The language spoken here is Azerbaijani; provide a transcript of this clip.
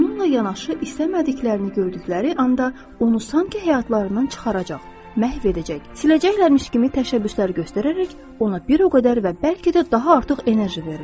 Bununla yanaşı istəmədiklərini gördükləri anda onu sanki həyatlarından çıxaracaq, məhv edəcək, siləcəkləmiş kimi təşəbbüslər göstərərək ona bir o qədər və bəlkə də daha artıq enerji verirlər.